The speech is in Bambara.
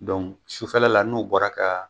sufɛla la n'u bɔra ka